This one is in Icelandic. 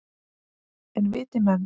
En viti menn!